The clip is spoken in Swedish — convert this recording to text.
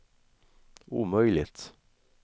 omöjligt